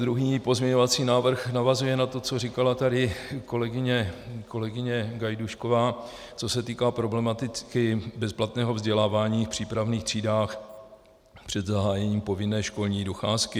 Druhý pozměňovací návrh navazuje na to, co říkala tady kolegyně Gajdůšková, co se týče problematiky bezplatného vzdělávání v přípravných třídách před zahájením povinné školní docházky.